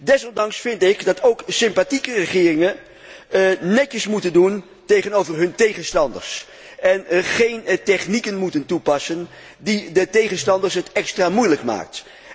Desondanks vind ik dat ook sympathieke regeringen netjes moeten optreden tegenover hun tegenstanders en geen technieken moeten toepassen die de tegenstanders het extra moeilijk maken.